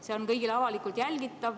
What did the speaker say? See on kõigile avalikult jälgitav.